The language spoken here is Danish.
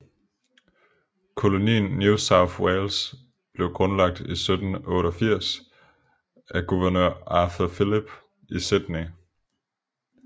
Kolonien New South Wales blev grundlagt i 1788 af guvernør Arthur Phillip i Sydney